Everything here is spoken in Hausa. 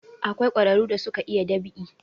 Akwai ƙwararu da suka iya dab'i